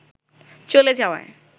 চলে যাওয়ায়